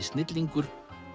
snillingur